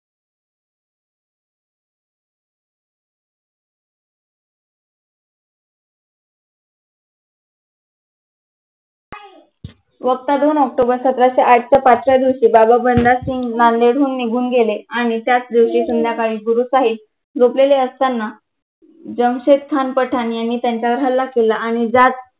वक्ता दोन ऑक्टोबर सतराशे आठच्या पाठच्या दिवशी बाबा बन्नासिंघ नांदेड होऊन निघून गेले आणि त्याच दिवशी संध्याकाळी गुरु साहिब झोपलेले असताना जमशेद खान पठाण यांनी त्यांच्यावर हल्ला केला आणि त्यात